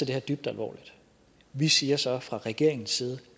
det her dybt alvorligt vi siger så fra regeringens side